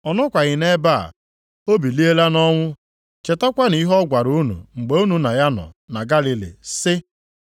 Ọ nọkwaghị nʼebe a, o biliela nʼọnwụ, chetakwanụ ihe ọ gwara unu mgbe unu na ya nọ na Galili sị,